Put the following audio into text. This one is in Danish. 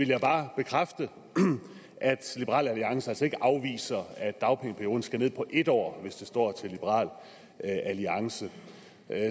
jeg bare bekræfte at liberal alliance altså ikke afviser at dagpengeperioden skal ned på en år hvis det står til liberal alliance